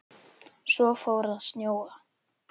Svo fór að snjóa.